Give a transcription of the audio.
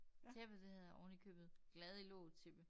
Tæppet det hedder oven i købet glad i låget tæppe